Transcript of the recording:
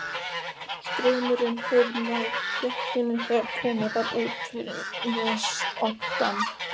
Straumurinn hefur náð dekkinu þegar komið var út fyrir nesoddann.